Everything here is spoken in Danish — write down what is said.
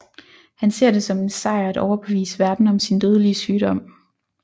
Han ser det som en sejr at overbevise verden om sin dødelige sygdom